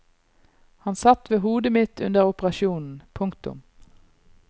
Han satt ved hodet mitt under operasjonen. punktum